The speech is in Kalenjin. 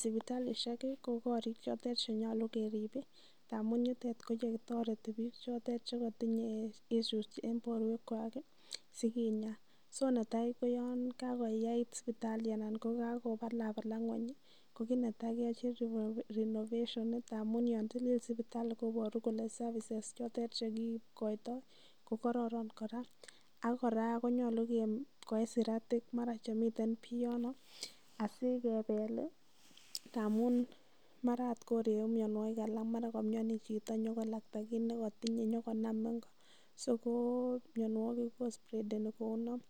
Sipitalisiek kokorik chotet che nyolu kerib ndamun yutet ko ye kitoreten biik che kotinye issues en borwekwak sikinya. So netai koyon kagoyait sipitali anan ko kagobalabalak ng'weny ko yoche keyochi renovation amun yon tilil sipitali koboru kole services chotet che kigoito ko kororon kora. Kora konyolu koyum siratik mara chemiten pii yon asikebel ndamun mara agot koregu mianwogik alak, mara komioni chito konyokolakta kit nekotinye konyokonam ingo, so ko minawogik ko spreadeni kou non.